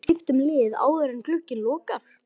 Gæti Kolbeinn skipt um lið áður en glugginn lokar?